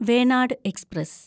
Venad express